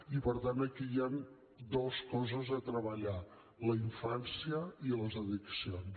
i per tant aquí hi han dues coses a treballar la infància i les addiccions